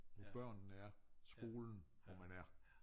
På børnene er skolen hvor man er